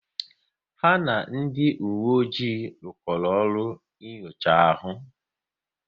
Ya na ndị uwe ojii rukoro ọrụ n'nyocha ahu